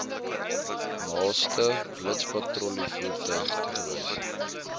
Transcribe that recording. naaste blitspatrollievoertuig toegewys